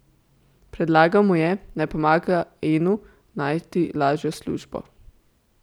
Predlagal mu je, naj pomaga Enu najti lažjo službo.